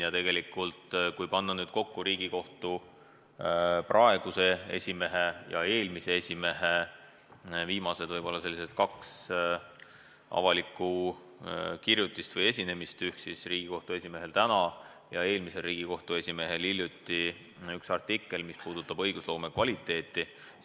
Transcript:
Ja kui panna nüüd kokku Riigikohtu praeguse esimehe ja eelmise esimehe viimased avalikud kirjutised või ülesastumised, siis praegusel Riigikohtu esimehel ilmus täna ja eelmisel Riigikohtu esimehel hiljuti üks artikkel, mis puudutab õigusloome kvaliteeti.